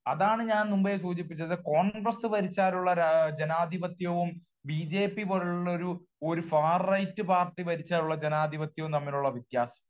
അതാണ് ഞാൻ മുന്പെ സൂചിപ്പിച്ചത് കോൺഗ്രസ്സ് ഭരിച്ചാലുള്ള ജനാധിപത്യവും ബി ജെ പി പോലുള്ള ഒരു ഫാർ റൈറ്റ് പാർട്ടി ഭരിച്ചാലുള്ള ജനാധിപത്യവും തമ്മിലുള്ള വ്യത്യാസം.